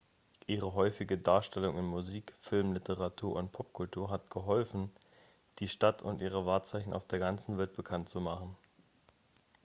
ihre häufige darstellung in musik filmen literatur und popkultur hat geholfen die stadt und ihre wahrzeichen auf der ganzen welt bekannt zu machen